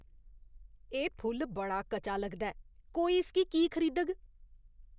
एह् फुल्ल बड़ा कचा लगदा ऐ। कोई इसगी की खरीदग?